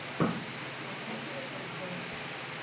показывай концерт